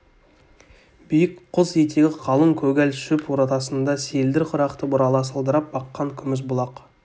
биік құз етегі қалың көгал шөп ортасында селдір құрақты бұрала сылдырап аққан күміс бұлақ